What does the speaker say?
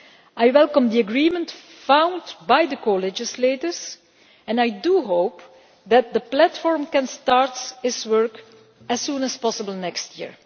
I welcome the agreement found by the co legislators and I do hope that the platform can start its work as soon as possible next year.